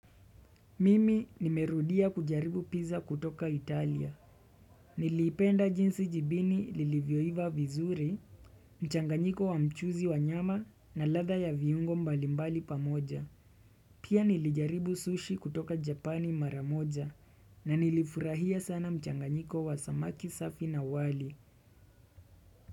Mimi nimerudia kujaribu pizza kutoka Italia. Niliipenda jinsi jibini lilivyoiva vizuri, mchanganyiko wa mchuzi wa nyama na ladha ya viungo mbalimbali pamoja. Pia nilijaribu sushi kutoka japani mara moja na nilifurahia sana mchanganyiko wa samaki safi na wali.